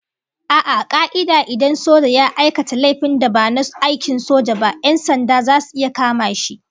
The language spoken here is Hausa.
A'a, a ka'ida idan soja ya aika laifin da ba na aikin soja ba, 'yan sanda zasu iya kama shi